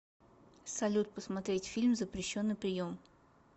салют посмотреть фильм запрещенный прием